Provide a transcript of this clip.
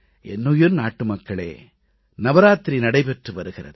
என்னுயிர் நாட்டுமக்களே நவராத்திரி நடைபெற்று வருகிறது